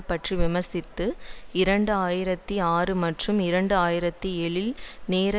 பற்றி விமர்சித்து இரண்டு ஆயிரத்தி ஆறு மற்றும் இரண்டு ஆயிரத்தி ஏழில் நோர்த் ஈஸ்ரன்